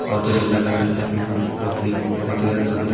बहुत ही सुंदर लग रहा है देखने में जोकि बहुत ही ज्यादा सुंदर --